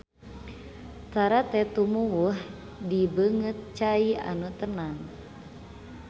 Tarate tumuwuh di beungeut cai anu tenang